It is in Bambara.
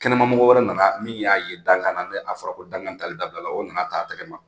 Kɛnɛmamɔgɔ wɛrɛ nana min y'a ye dankan na, ni a fɔra ko dangan taali dabila la o nana ta tɛgɛ ma.